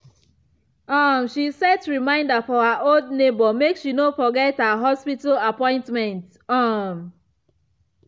um she set reminder for her old neighbor make she no forget her hospital appointment. um